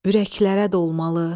Ürəklərə dolmalı.